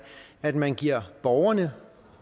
at man giver borgerne